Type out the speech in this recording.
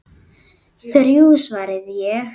Þrjú, svaraði ég.